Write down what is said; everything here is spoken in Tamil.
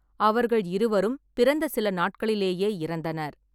அவர்கள் இருவரும் பிறந்த சில நாட்களிலேயே இறந்தனர்.